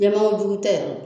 Yɛman o jugu tɛ yɛrɛ.